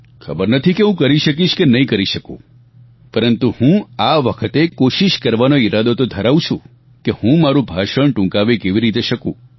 ખબર નથી કે હું કરી શકીશ કે નહીં કરી શકું પરંતુ હું આ વખતે કોશિશ કરવાનો ઈરાદો તો ધરાવું છું કે હું મારું ભાષણ ટૂંકાવી કેવી રીતે શકું